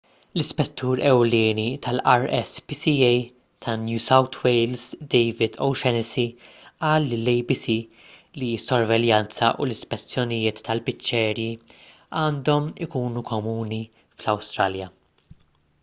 l-ispettur ewlieni tal-rspca ta' new south wales david o'shannessy qal lill-abc li s-sorveljanza u l-ispezzjonijiet tal-biċċeriji għandhom ikunu komuni fl-awstralja